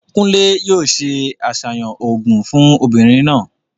Kúnlè yóò se àsàyàn òògùn fún obìnrin náà.